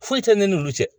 Foyi tɛ ne n'olu cɛ